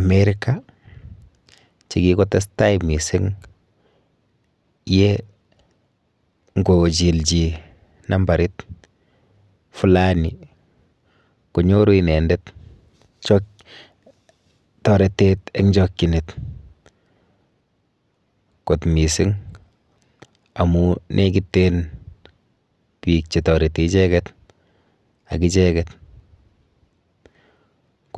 america chekikotestai mising ye ngochil chi numbarit fulani konyoru inendet toretet eng chokchinet kot mising amun lekiten biik chetoreti icheket ak icheket